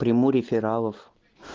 приму рефералов